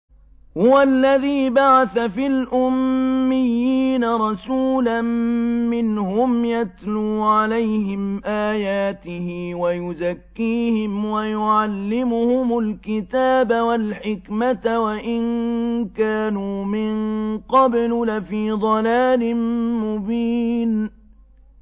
هُوَ الَّذِي بَعَثَ فِي الْأُمِّيِّينَ رَسُولًا مِّنْهُمْ يَتْلُو عَلَيْهِمْ آيَاتِهِ وَيُزَكِّيهِمْ وَيُعَلِّمُهُمُ الْكِتَابَ وَالْحِكْمَةَ وَإِن كَانُوا مِن قَبْلُ لَفِي ضَلَالٍ مُّبِينٍ